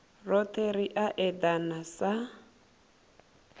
rothe ri a edana sa